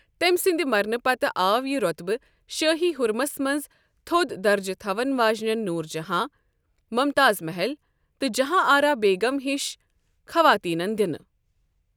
تمہِ سندِ مرنہٕ پتہٕ آو یہِ روطبہٕ شٲہی حرمس منز تھود درجہٕ تھون واجِنین نوٗر جہاں ، ممتاز محل تہٕ جہاں آرا بیگم یِشن خواطینن دِنہٕ ۔